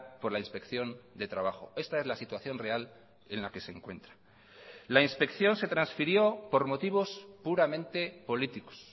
por la inspección de trabajo esta es la situación real en la que se encuentra la inspección se transfirió por motivos puramente políticos